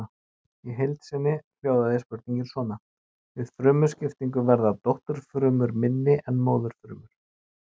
Í heild sinni hljóðaði spurningin svona: Við frumuskiptingu verða dótturfrumur minni en móðurfrumur.